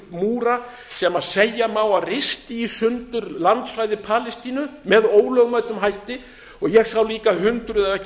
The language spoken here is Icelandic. múra sem segja má að risti í sundur landsvæði palestínu með ólögmætum hætti og sá líka fundum ef ekki